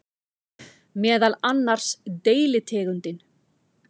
Meðal annars deilitegundin